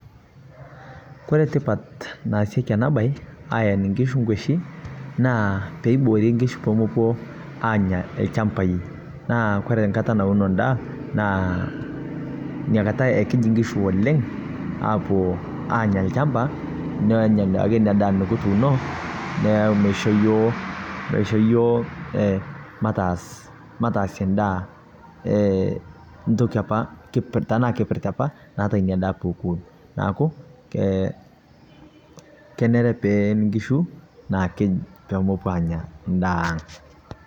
Kore tipaat naasieki ana baye aeen nkishuu nkueshii naa pee eiboori nkishuu pee mepoo anyaa lchambai. Naa kore nkaata nauno ndaa naa nia nkaata ekiit nkishuu oleng apoo anyaa lchambaa leloo anyaa duake enyaa ndaa nikituuno naa keishoo yoo, keishoo yoo eeh maataas mataasie ndaa eeh ntokii apaa tana kipiritaa apaa naata enia ndaa poo oponuu. Naaku keneere pee een nkishuu naakiny' pee mepoo anyaa ndaa ang'.